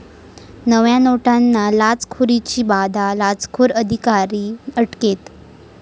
नव्या नोटांना लाचखोरीची बाधा, लाचखोर अधिकारी अटकेत